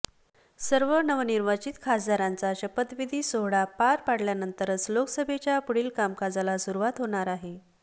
सर्व नवनिर्वाचित खासदारांचा शपथविधी सोहळा पार पडल्यानंतरच लोकसभेच्या पुढील कामकाजाला सुरुवात होणार आहे